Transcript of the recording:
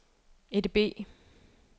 EDB